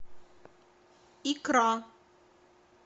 икра